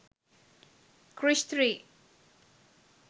krrish 3